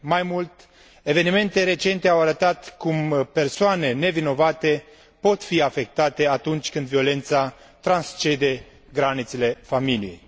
Mai mult, evenimente recente au arătat cum persoane nevinovate pot fi afectate atunci când violența transcende granițele familiei.